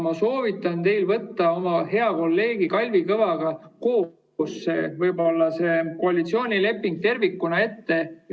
Ma soovitan teil võtta hea kolleegi Kalvi Kõvaga koalitsioonileping tervikuna ette.